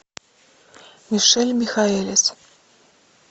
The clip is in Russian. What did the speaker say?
мишель михаэлис